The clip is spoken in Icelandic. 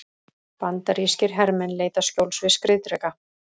Bandarískir hermenn leita skjóls við skriðdreka.